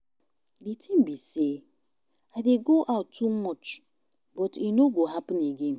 The thing be say I dey go out too much but e no go happen again